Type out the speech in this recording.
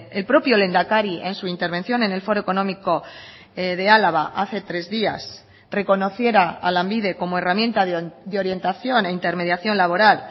el propio lehendakari en su intervención en el foro económico de álava hace tres días reconociera a lanbide como herramienta de orientación e intermediación laboral